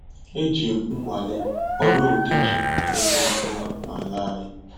Ejim nnwale họrọ udi ji na eme ọfụma na ala anyị